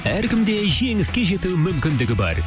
әркімде жеңіске жету мүмкіндігі бар